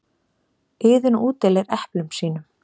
Iðunn útdeilir eplum sínum.